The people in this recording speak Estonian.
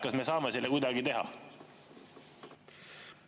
Kas me saame seda kuidagi teha?